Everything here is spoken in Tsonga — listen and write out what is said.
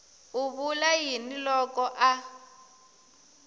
u vula yini loko a